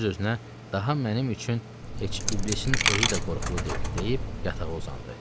Öz-özünə daha mənim üçün heç iblisin özü də qorxulu deyil, deyib yatağa uzandı.